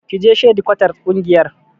Ki je shadikwatar ƙungiyar.